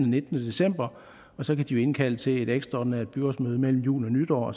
nittende december og så kan de jo indkalde til et ekstraordinært byrådsmøde mellem jul og nytår